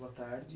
Boa tarde.